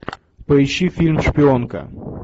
поищи фильм шпионка